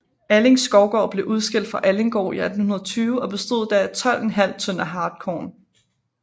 Alling Skovgård blev udskilt fra Allinggård i 1820 og bestod da af 12½ tønder hartkorn